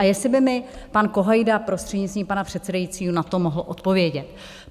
A jestli by mi pan Kohajda, prostřednictvím pana předsedajícího, na to mohl odpovědět.